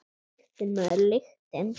Lyktin, maður, lyktin!